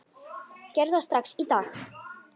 Gerðu þetta strax í dag!